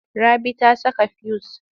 Rabi ta saka fuyus.